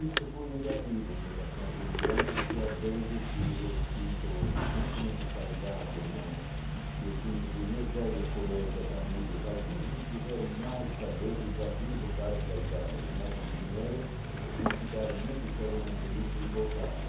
Isso foi negativo em relação aos imigrantes, porque às vezes eu sinto, não somente saudade, mas eu sinto que os meus velhos colegas, amigos, alguns não quiserem mais saber de Brasil e voltaram para Itália, ganharam um dinheiro, não ficaram necessariamente ricos e voltaram.